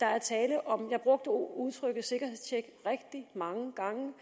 der er tale om sikkerhedstjek jeg brugte udtrykket rigtig mange gange